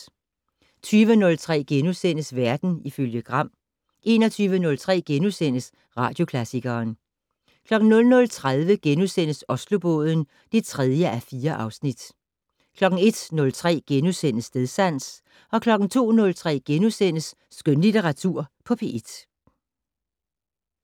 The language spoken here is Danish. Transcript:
20:03: Verden ifølge Gram * 21:03: Radioklassikeren * 00:30: Oslobåden (3:4)* 01:03: Stedsans * 02:03: Skønlitteratur på P1 *